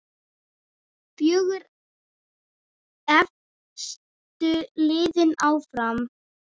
Fjögur efstu liðin áfram.